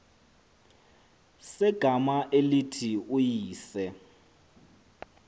segama elithi uyise